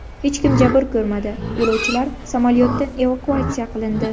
Hech kim jabr ko‘rmadi, yo‘lovchilar samolyotdan evakuatsiya qilindi.